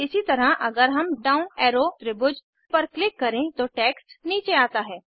इसी तरह अगर हम डाउन एरो त्रिभुज पर क्लिक करें तो टेक्स्ट नीचे आता है